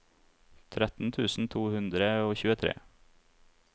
tretten tusen to hundre og tjuetre